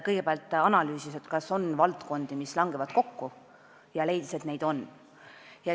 Kõigepealt analüüsiti, kas on valdkondi, mis langevad kokku, ja leiti, et neid on.